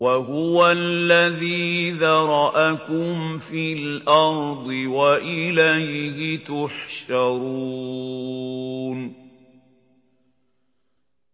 وَهُوَ الَّذِي ذَرَأَكُمْ فِي الْأَرْضِ وَإِلَيْهِ تُحْشَرُونَ